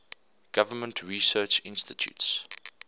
government research institutes